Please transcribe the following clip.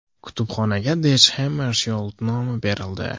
Kutubxonaga Dag Xammarshyold nomi berildi.